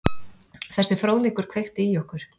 Þessi fróðleikur kveikti í okkur.